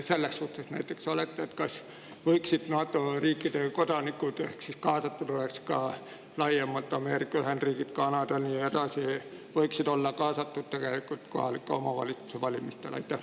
Mis seisukohal te näiteks selles suhtes olete, kas NATO riikide kodanikud, kui kaasatud oleks Ameerika Ühendriigid, Kanada ja nii edasi, võiksid olla kaasatud kohalike omavalitsuste valimistesse?